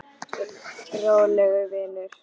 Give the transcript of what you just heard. Rólegur vinur!